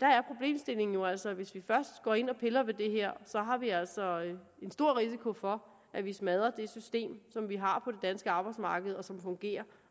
er jo altså at hvis vi først går ind og piller ved det her så har vi altså en stor risiko for at vi smadrer det system som vi har på det danske arbejdsmarked og som fungerer